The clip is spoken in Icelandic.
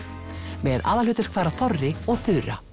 með aðalhlutverk fara Þorri og Þura